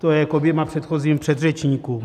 To je k oběma předchozím předřečníkům.